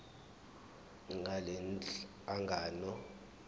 ngalenhlangano yiya kut